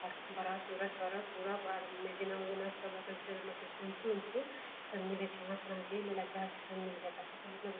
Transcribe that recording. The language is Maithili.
आर बड़ा सूरज सब पूरब आर मे जना ओ जना सब एकर जना सिंपुल उमपुल सब मिले छै आहां अपना जे लय ले चाहे छीये सब मिल जाएत अहां के ।